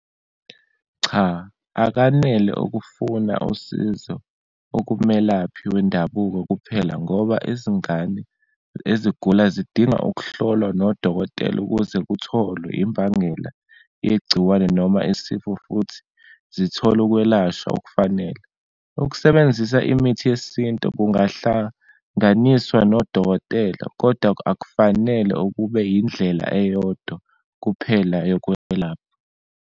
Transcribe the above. Cha, akanele ukufuna usizo okumelaphi wendabuko kuphela, ngoba izingane ezigula zidinga ukuhlolwa nodokotela ukuze kutholwe imbangela yegciwane noma isifo futhi zithole ukwelashwa okufanele. Ukusebenzisa imithi yesintu kungahlanganiswa nodokotela kodwa akufanele ukube indlela eyodwa kuphela yokwelapha.